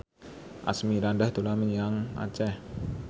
Asmirandah dolan menyang Aceh